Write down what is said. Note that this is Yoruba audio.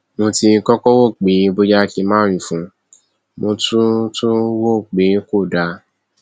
mo ti kọkọ rò pé bóyá kí n má wí fún un mo tún tún un rò pé kò dáa